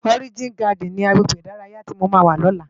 Òrijín Gàdín ni àgbégbé idàráyá ti mó má wá lòlá?